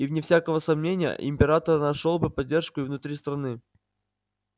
и вне всякого сомнения император нашёл бы поддержку и внутри страны